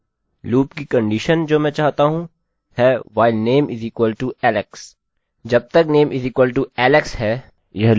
loop की condition जो मैं चाहता हूँ है while the name = alex